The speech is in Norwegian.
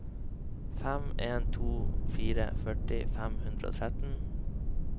fem en to fire førti fem hundre og tretten